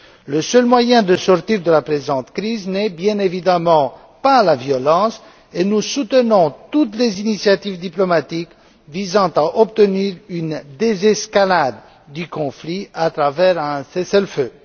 Le seul moyen de sortir de la présente crise n'est bien évidemment pas la violence et nous soutenons toutes les initiatives diplomatiques visant à obtenir une désescalade du conflit à travers un cessez le feu.